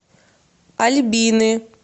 альбины